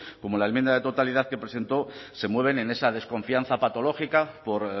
como la enmienda de totalidad que presentó se mueven en esa desconfianza patológica por